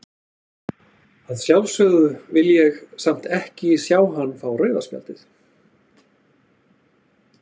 Að sjálfsögðu vill ég samt ekki sjá hann fá rauða spjaldið.